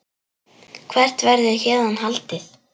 Hvert verður héðan haldið?